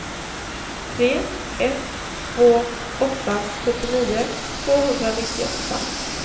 tre ett två åtta sjuttionio tvåhundranittioåtta